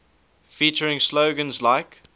featuring slogans like